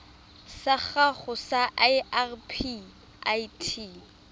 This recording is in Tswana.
sa gago sa irp it